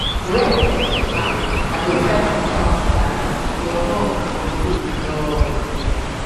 when person marry i go tell am "congrats! your home go full with love!"